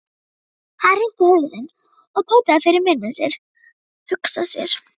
Hann hristi hausinn og tautaði fyrir munni sér: Hugsa sér.